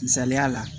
Misaliya la